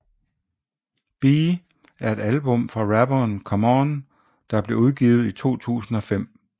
Be er et album fra rapperen Common der blev udgivet i 2005